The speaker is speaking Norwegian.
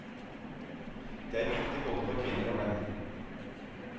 Det er viktig både for kvinner og menn.